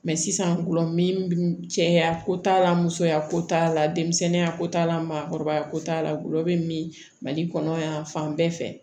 sisan gulɔ min bɛ cɛya ko t'a la musoya ko t'a la denmisɛnninya ko t'a la maakɔrɔbaya ko t'a la gulɔ bɛ min mali kɔnɔ yan fan bɛɛ fɛ